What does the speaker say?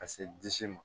Ka se disi ma